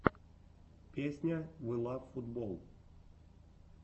песня вилавфутболл